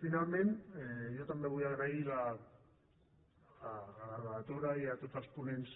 finalment jo també vull agrair a la relatora i a tots els ponents